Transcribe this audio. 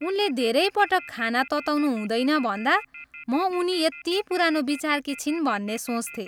उनले धेरै पटक खाना तताउनु हुँदैन भन्दा म उनी यति पुरानो विचारकी छिन् भन्ने सोच्थेँ।